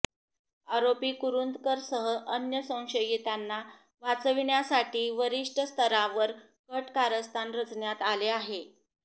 आरोपी कुरूंदकरसह अन्य संशयितांना वाचविण्यासाठी वरिष्ठस्तरावर कट कारस्थान रचण्यात आले आहे